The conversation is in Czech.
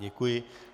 Děkuji.